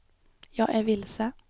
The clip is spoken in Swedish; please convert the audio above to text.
jag är vilse